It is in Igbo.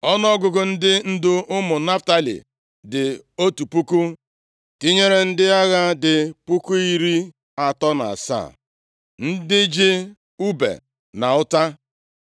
Ọnụọgụgụ ndị ndu ụmụ Naftalị dị otu puku (1,000), tinyere ndị agha dị puku iri atọ na asaa (37,000), ndị ji ùbe na ọta.